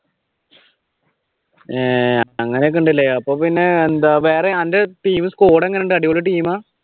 അഹ് അങ്ങനെ ഒക്കെയുണ്ടല്ലേ പിന്നെയെന്താ വേറെ അന്റ team, squad എങ്ങനെയുണ്ട് അടിപൊളി ടീമാ?